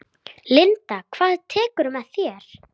Linda: Hvað tekurðu með þér?